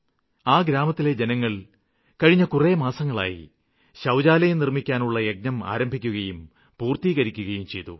ആ ഗ്രാമത്തിലെ ജനങ്ങള് കഴിഞ്ഞ കുറേ മാസങ്ങളായി ശൌചാലയം നിര്മ്മിക്കാനുള്ള യജ്ഞം ആരംഭിക്കുകയും പൂര്ത്തീകരിക്കുകയും ചെയ്തു